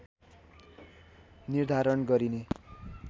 निर्धारण गरिने